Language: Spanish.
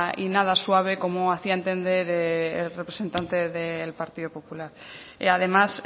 y nada suave como hacía entender el representante del partido popular además